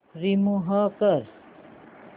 remove कर